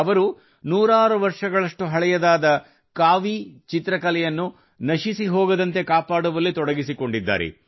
ಅವರು ನೂರಾರು ವರ್ಷಗಳಷ್ಟು ಹಳೆಯ ಕಾವೀ ಚಿತ್ರಕಲೆಯನ್ನು ನಶಿಸಿಹೋಗದಂತೆ ಕಾಪಾಡುವಲ್ಲಿ ತೊಡಗಿಸಿಕೊಂಡಿದ್ದಾರೆ